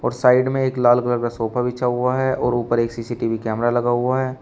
और साइड में एक लाल कलर का सोफा बिछा हुआ है और ऊपर एक सी_सी_टी_वी कैमरा लगा हुआ है।